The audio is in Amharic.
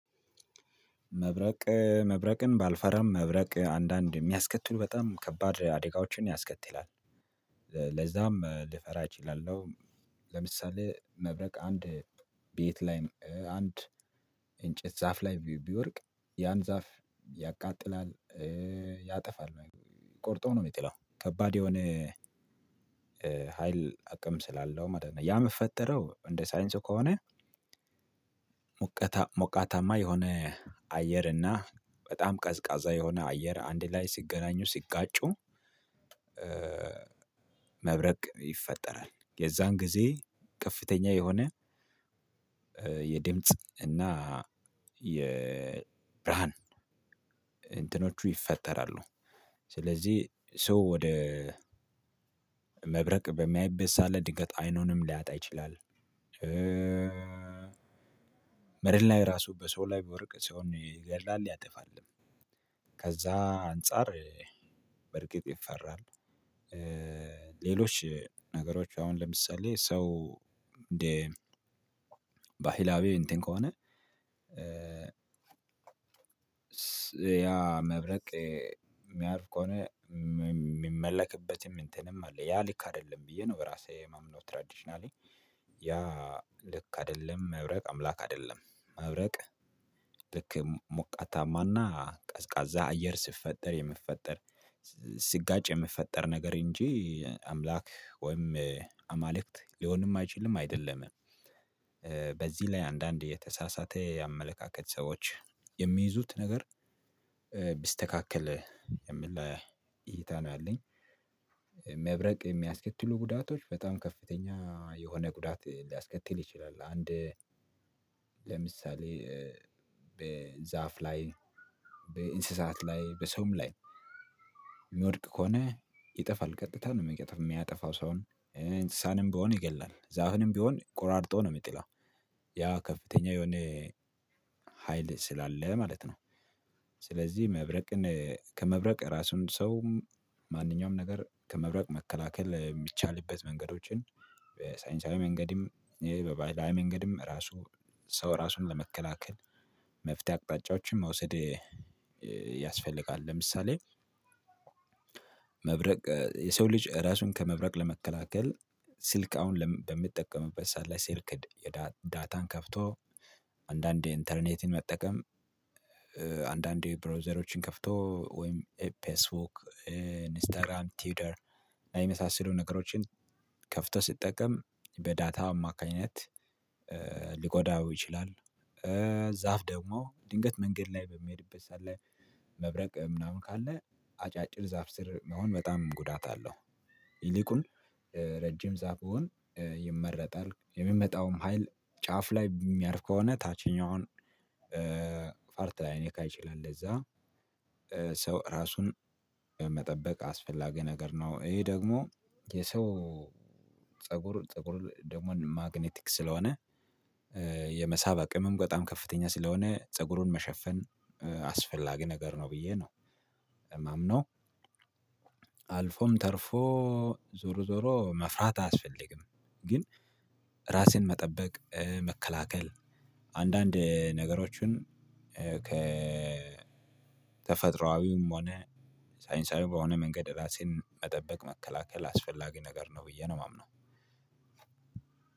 መብረቅ መብረቅን ባልፈራም መብረቅ አንዳንድ የሚያስከትሉ በጣም ከባድ አደጋዎችን ያስከትላል። ለዛም ልፈራ እችላለሁ። ለምሳሌ መብረቅ አንድ ቤት ላይ አንድ እንጨት ዛፍ ላይ ቢወድቅ ያን ዛፍ ያቃጥላል፣ ያጠፋል። ቆርጦ ነው የሚጥለው። ከባድ የሆነ ሀይል አቅም ስላለው ማለት ነው። ያ የምፈጠረው እንደ ሳይንሱ ከሆነ ሞቃታማ የሆነ አየር እና በጣም ቀዝቃዛ የሆነ አየር አንድ ላይ ሲገናኙ ሲጋጩ መብረቅ ይፈጠራል። የዛን ጊዜ ከፍተኛ የሆነ የድምጽ እና የብርሃን እንትኖቹ ይፈጠራሉ። ስለዚህ ሰው ወደ መብረቅ በሚያይበት ሰዓት ላይ ድንገት አይኑንም ሊያጣ ይችላል። መሬት ላይ ራሱ በሰው ላይ ቢወድቅ ሰውን ይገድላል ያጠፋል። ከዛ አንፃር በርግጥ ይፈራል። ሌሎች ነግሮች አሁን ለምሳሌ ሰው እንደ ባህላዊ እንትን ከሆነ ያ መብረቅ የሚያርፍ ከሆነ የሚመለክበትም እንትንም አለ። ያ ልክ አይደለም ብዬ ነው በራሴ የማምነው ትራዲሽናሊ። ያ ልክ አይደለም፣ መብረቅ አምላክ አይደለም። መብረቅ ልክ ሞቃታማና ቀዝቃዛ አየር ሲፈጠር የሚፈጠር ሲጋጭ የሚፈጠር ነገር እንጂ አምላክ ወይም አማልክት ሊሆንም አይችልም አይደለምም። በዚህ ላይ አንዳንድ የተሳሳተ የአመለካከት ሰዎች የሚይዙት ነገር ቢስተካከል የሚል እይታ ነው ያለኝ። መብረቅ የሚያስከትሉ ጉዳቶች በጣም ከፍተኛ የሆነ ጉዳት ሊያስከትል ይችላል። አንድ ለምሳሌ በዛፍ ላይ በእንስሳት ላይ በሰውም ላይ የሚወድቅ ከሆነ ይጠፋል ቀጥታ ነው የሚቀጥፍ የሚያጠፋው ሰውን። እንስሳንም ቢሆን ይገላል፣ ዛፍንም ቢሆን ቆራርጦ ነው የሚጥለው። ያ ከፍተኛ የሆነ ሀይል ስላለ ማለት ነው። ስለዚህ መብረቅን ከመብረቅ ራሱን ሰውም ማንኛውም ነገር ከመብረቅ መከላከል የሚቻልበት መንገዶችን በሳይንሳዊ መንገድም በባህላዊ መንገድም ራሱ ሰው ራሱን ለመከላከል መፍትሄ አቅጣጫዎችን መውሰድ ያስፈልጋል። ለምሳሌ መብረቅ የሰው ልጅ ራሱን ከመብረቅ ለመከላከል ስልክ አሁን ለም በምጠቀምበት ሰዓት ላይ ስልክ ድ የዳ ዳታን ከፍቶ አንዳንዴ ኢንተርኔትን መጠቀም አንዳንዴ ብሮውዘሮችን ከፍቶ ወይም ፌስቡክ ኢንስታግራም ቲውተር የመሳሰሉ ነገሮችን ከፍቶ ሲጠቀም በዳታ አማካኝነት ሊጎዳው ይችላል። ዛፍ ደግሞ ድንገት መንገድ ላይ በሚሄድበት ሰዓት ላይ መብረቅ ምናምን ካለ አጫጭር ዛፍ ስር መሆን በጣም ጉዳት አለው። ይልቁን ረጅም ዛፍ ቢሆን ይመረጣል። የሚመጣውም ሀይል ጫፍ ላይ የሚያርፍ ከሆነ ታችኛውን ፓርት ላይነካ ይችላል። ለዛ ሰው ራሱን በመጠበቅ አስፈላጊ ነገር ነው። ይሄ ደግሞ የሰው ፀጉር ፀጉር ደግሞ ማግኔቲክ ስለሆነ የመሳብ አቅምም በጣም ከፍተኛ ስለሆነ ፀጉሩን መሸፈን አስፈላጊ ነገር ነው ብዬ ነው የማምነው። አልፎም ተርፎ ዞሮ ዞሮ መፍራት አያስፈልግም። ግን ራሴን መጠበቅ መከላከል አንዳንድ ነገሮችን ከተፈጥሮአዊም ሆነ ሳይንሳዊ በሆነ መንገድ ራሴን መጠበቅ መከላከል አስፈላጊ ነገር ነው ብዬ ነው የማምነው።